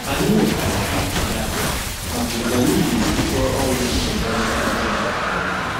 Anyị nwetara ntụzịaka maka otu anyị ga-esi kọọ ọrụ nkekọrịta ihe nke ọma.